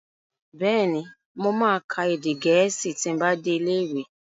Bẹ́ẹ̀ni, mo ma ka èdè Gẹ̀ẹ́sì ti n bá dé ilé ìwé